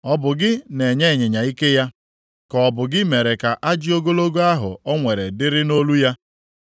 “Ọ bụ gị na-enye ịnyịnya ike ya, ka ọ bụ gị mere ka ajị ogologo ahụ o nwere dịrị nʼolu ya?